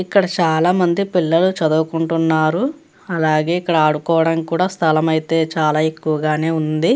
ఇక్కడ చాలామంది పిల్లలు చదువుకుంటున్నారు అలాగే ఇక్కడ ఆడుకోవడానికి కూడా స్థలము అయితే చాల ఎక్కువగానే ఉంది.